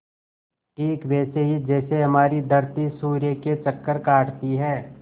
ठीक वैसे ही जैसे हमारी धरती सूर्य के चक्कर काटती है